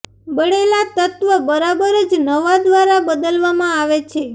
બળેલા તત્વ બરાબર જ નવા દ્વારા બદલવામાં આવે છે